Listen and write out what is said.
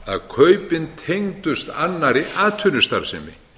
nema kaupin tengdust annarri atvinnustarfsemi